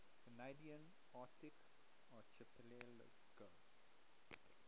canadian arctic archipelago